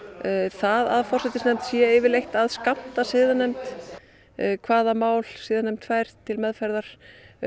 það að forsætisnefnd sé yfirleitt að skammta siðanefnd hvaða mál siðanefnd fær til meðferðar